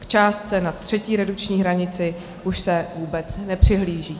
K částce nad třetí redukční hranici už se vůbec nepřihlíží.